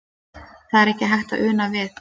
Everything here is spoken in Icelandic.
Það er ekki hægt að una við.